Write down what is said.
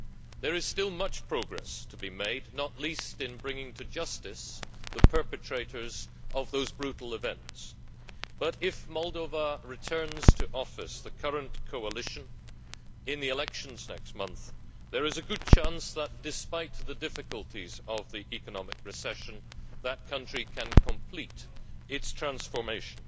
There is still much progress to be made not least in bringing to justice the perpetrators of those brutal events but, if Moldova returns to office the current coalition in the elections next month, there is a good chance that, despite the difficulties of the economic recession, the country can complete its transformation.